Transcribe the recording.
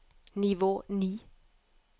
nivå ni